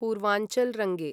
पूर्वाञ्चल् रङ्गे